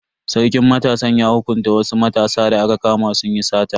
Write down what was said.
Sarkin matasan ya hukunta wasu matasa da aka kama sun yi sata.